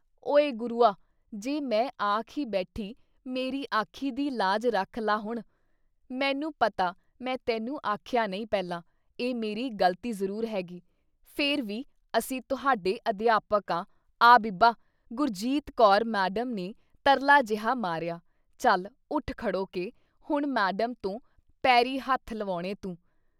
ਓਏ ਗੁਰੂਆ! ਜੇ ਮੈਂ ਆਖ ਈ ਬੈਠੀ ਮੇਰੀ ਆਖੀ ਦੀ ਲਾਜ ਰੱਖ ਲਾ ਹੁਣ। ਮੈਨੂੰ ਪਤਾ ਮੈਂ ਤੈਨੂੰ ਆਖਿਆਂ ਨਹੀਂ ਪਹਿਲਾਂ, ਇਹ ਮੇਰੀ ਗ਼ਲਤੀ ਜ਼ਰੂਰ ਹੈਗੀ। ਫਿਰ ਵੀ ਅਸੀਂ ਤੁਹਾਡੇ ਅਧਿਆਪਕ ਆਂ! ਆ ਬੀਬਾ! ਗੁਰਜੀਤ ਕੌਰ ਮੈਡਮ ਨੇ ਤਰਲਾ ਜੇਹਾ ਮਾਰਿਆ। ਚੱਲ ਉੱਠ ਖੜੋ ਕੇ ਹੁਣ ਮੈਡਮ ਤੋਂ ਪੈਰੀਂ ਹੱਥ ਲਵੈਣੇ ਤੂੰ।"